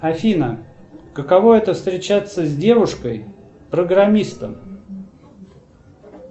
афина каково это встречаться с девушкой программистом